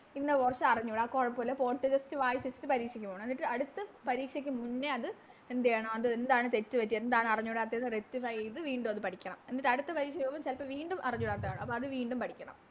ഇന്ന് കൊറച്ച് അറിഞ്ഞൂടാ ആ കൊഴപ്പില്ല Just വായിച്ച് പരീക്ഷക്ക് പോണം എന്നിട്ട് അടുത്ത പരീക്ഷക്ക് മുന്നേ അത് എന്തെയ്യണം അത് എന്താണ് തെറ്റ് പറ്റിയെ എന്താണ് അറിഞ്ഞൂടത്തെ എന്ന് Rectify ചെയ്ത വീണ്ടും അത് പഠിക്കണം എന്നിട്ടടുത്ത പരീക്ഷക്ക് പോകുമ്പോ വീണ്ടും അറിഞ്ഞൂടാത്ത കാണും അപ്പൊ അത് വീണ്ടും പഠിക്കണം